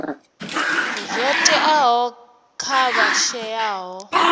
zwo teaho kha vha shayaho